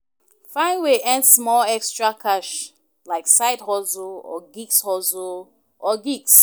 Find way earn small extra cash like side hustle or gigs hustle or gigs